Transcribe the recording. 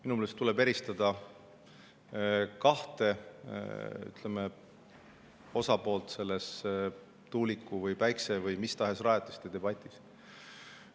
Minu meelest tuleb eristada kahte osapoolt selles tuulikute, päikse või mis tahes rajatiste debatis.